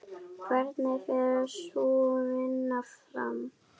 Hvernig fer sú vinna fram?